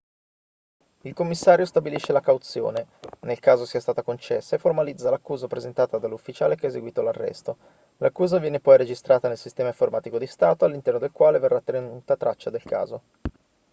il commissario stabilisce la cauzione nel caso sia stata concessa e formalizza l'accusa presentata dall'ufficiale che ha eseguito l'arresto l'accusa viene poi registrata nel sistema informatico di stato all'interno del quale verrà tenuta traccia del caso